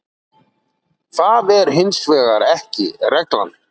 það er hins vegar ekki reglan